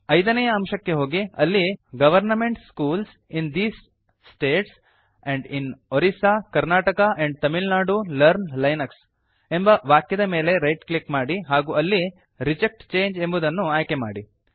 ಐದನೇಯ ಅಂಶಕ್ಕೆ ಹೋಗಿ ಅಲ್ಲಿ government schools in these states and in Orissa Karnataka and Tamil Nadu learn Linux ಎಂಬ ವಾಕ್ಯದ ಮೇಲೆ ರೈಟ್ ಕ್ಲಿಕ್ ಮಾಡಿ ಹಾಗೂ ಅಲ್ಲಿ ರಿಜೆಕ್ಟ್ ಚಂಗೆ ಎಂಬುದನ್ನು ಆಯ್ಕೆಮಾಡಿ